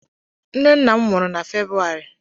Nne nna m nwụrụ na February